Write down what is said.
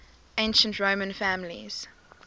ancient roman families